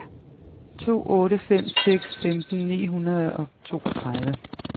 to otte fem seks femten ni hundrede og toogtredive